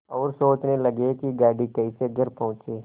और सोचने लगे कि गाड़ी कैसे घर पहुँचे